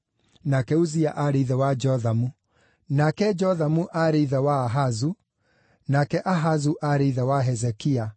nake Uzia aarĩ ithe wa Jothamu, nake Jothamu aarĩ ithe wa Ahazu, nake Ahazu aarĩ ithe wa Hezekia,